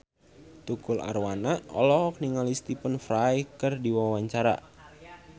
Tukul Arwana olohok ningali Stephen Fry keur diwawancara